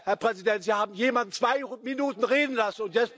Herr Präsident, Sie haben jemand zwei Minuten reden lassen.